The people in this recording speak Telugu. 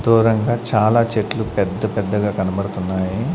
దూరంగా చాలా చెట్లు పెద్ద పెద్దగా కనబడుతున్నాయి.